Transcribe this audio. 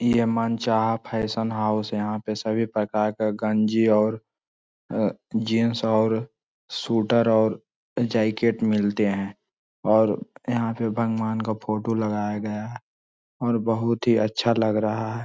ई है मनचाहा fashion house. यहाँ पे सभी प्रकार का गंजी और अ जीन्स और सुटर और जैकेट मिलते हैं और यहाँ पे भगवान का फोटो लगाया गया है और बहुत ही अच्छा लग रहा है।